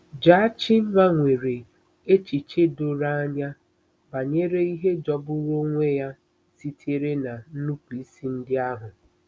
Jachimma nwere echiche doro anya banyere ihe jọgburu onwe ya sitere na nnupụisi ndị ahụ.